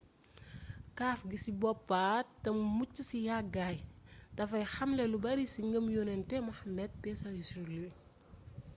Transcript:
kaaf gi ci boppa te mu mucc ci yàggaay dafay xalme lu bari ci ngëmuyonentu muhammad psl